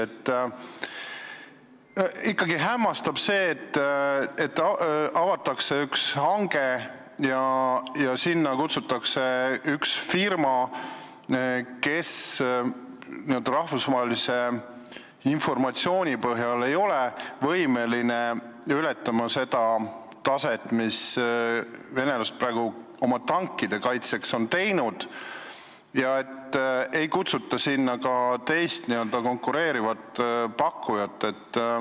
Ja ikkagi hämmastab see, et avatakse hange, kuhu kutsutakse üks firma, kes ei ole n-ö rahvusvahelise informatsiooni põhjal võimeline ületama seda taset, mida venelased on oma tankide kaitseks teinud, ja ei kutsuta sinna teist, konkureerivat pakkujat.